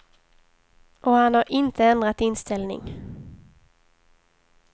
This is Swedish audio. Och han har inte ändrat inställning.